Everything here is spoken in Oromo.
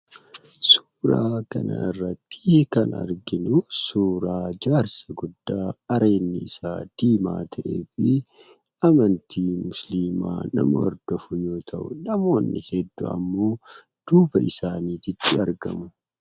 Suuraa kanarratti kan arginu suuraa jaarsa guddaa areedni isaa diimaa ta'ee fi amantii musliimaa nama hordofu yoo ta'u namoonni hedduu ammoo duuba isaaniititti argamu .